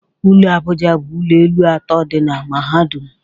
Ụlọ Abuja bụ ụlọ elu atọ dị na mahadum